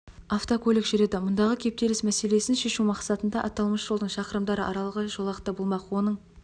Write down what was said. автокөлік жүреді мұндағы кептіліс мәселесін шешу мақсатында аталмыш жолдың шақырымдары аралығы және жолақты болмақ оның